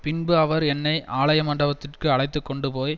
பின்பு அவர் என்னை ஆலய மண்டபத்துக்கு அழைத்துக்கொண்டுபோய்